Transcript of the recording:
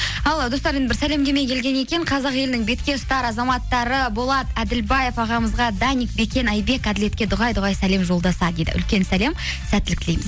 ал достар енді бір сәлемдеме келген екен қазақ елінің бетке ұстар азаматтары болат әділбаев ағамызға даник бекен айбек әділетке дұғай дүғай сәлем жолдаса дейді үлкен сәлем сәттілік тілейміз